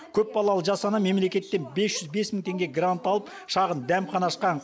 көпбалалы жас ана мемлекеттен бес жүз бес мың теңге грант алып шағын дәмхана ашқан